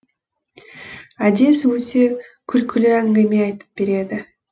әдес өте күлкілі әңгіме айтып береді